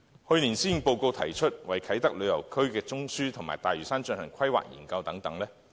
去年施政報告提出為啟德旅遊中樞及大嶼山進行規劃研究等。